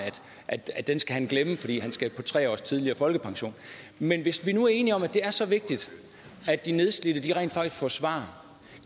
at den skal han glemme fordi han skal på tre års tidligere folkepension men hvis vi nu er enige om at det er så vigtigt at de nedslidte rent faktisk får svar